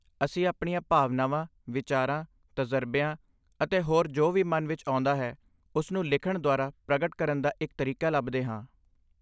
ਅਸੀਂ ਆਪਣੀਆਂ ਭਾਵਨਾਵਾਂ, ਵਿਚਾਰਾਂ, ਤਜ਼ਰਬਿਆਂ ਅਤੇ ਹੋਰ ਜੋ ਵੀ ਮਨ ਵਿੱਚ ਆਉਂਦਾ ਹੈ ਉਸਨੂੰ ਲਿਖਣ ਦੁਆਰਾ ਪ੍ਰਗਟ ਕਰਨ ਦਾ ਇੱਕ ਤਰੀਕਾ ਲੱਭਦੇ ਹਾਂ।